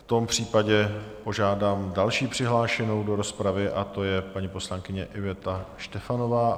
V tom případě požádám další přihlášenou do rozpravy a to je paní poslankyně Iveta Štefanová.